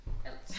Alt